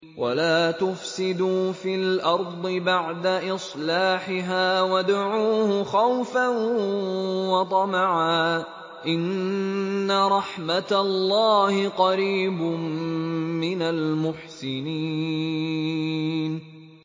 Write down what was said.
وَلَا تُفْسِدُوا فِي الْأَرْضِ بَعْدَ إِصْلَاحِهَا وَادْعُوهُ خَوْفًا وَطَمَعًا ۚ إِنَّ رَحْمَتَ اللَّهِ قَرِيبٌ مِّنَ الْمُحْسِنِينَ